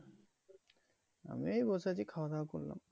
আমি এই বসে আছি খাওয়া দাওয়া করলাম।